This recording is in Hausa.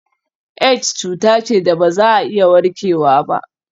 Aids cuta ce da ba za a iya warkewa ba.